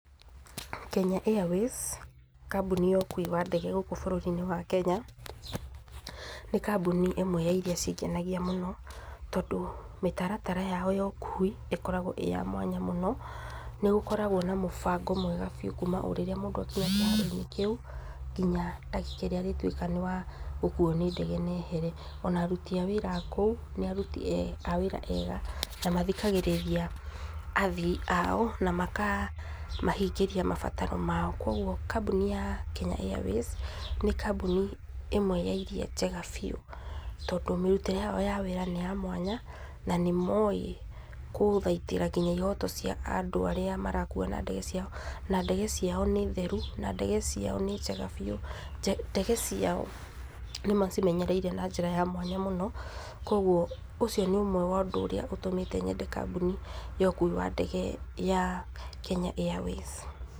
Kenya Airways, kambuni ya ũkui wa ndege gũkũ bũrũri-inĩ wa Kenya nĩ kambuni ĩmwe ya irĩa cingenagia mũno, tondũ mĩtaratara yao ya ũkui ĩkoragwo ĩya mwanya mũno, nĩgũkoragwo na mũbango mwega biũ kuma o rĩrĩa mũndũ akinya kĩharo-inĩ kĩu nginya ndagĩka ĩrĩa mũndũ arĩtuĩka nĩ akuo nĩ ndege ehere, ona aruti a wĩra a kũu nĩ aruti a wĩra ega na mathikagĩrĩria athii ao na makamahingĩria mabataro mao, kwoguo kambuni ya Kenya Airways nĩ kambuni imwe ya iria njega biũ, tondũ mĩrutĩre yao ya wĩra nĩ ya mwanya na nĩ mowĩ gũthaitĩra nginya ihoto cia andũ arĩa marakua na ndege, na ndege ciao nĩ theru na ndege ciao nĩ njega biũ, ndege ciao nĩ macimenyereire na njĩra ya mwanya mũno kogwo ũcio nĩ ũndũ ũmwe wa ũndũ ũrĩa ũtũmĩte nyende kambuni ya ũkui wa ndege ya Kenya Airways.